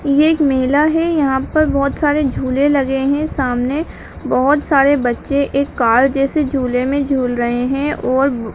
ये एक मेला है यहाँ पर बहोत सारे झूले लगे हैं सामने बहोत सारे बच्चे एक कार जैसे झूले मे झूल रहे हैं और --